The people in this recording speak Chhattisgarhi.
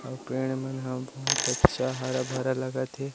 अउ पेड़ मन ह बहुत अच्छा हरा-भरा लागत हे ।